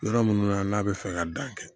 Yɔrɔ minnu na n'a bɛ fɛ ka dan kɛ